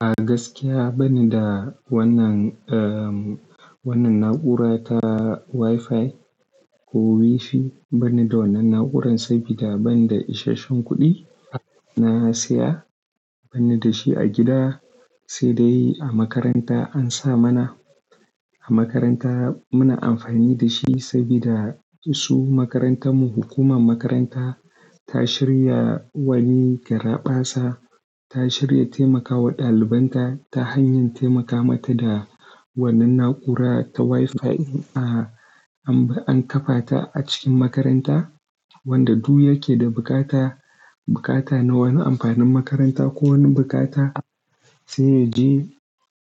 A gaskiya banida wannan, wannan na'ura ta WiFi ko WiFi banida wannan na'uran sabida banda isashen kuɗi na siya bani dashi a gida sai dai a makaranta ansa mana. A makaranta muna amfani dashi sabida su makarantar mu hukumar makaranta ta shirya wani garaɓasa, ta shirya taimakawa ɗalibanta ta hanyar taimaka mata da wannan na'ura ta WiFi in an, an kafata a cikin makaranta wanda duk yake da bukata, bukata na wani amfanin makaranta ko wani bukata sai yaje,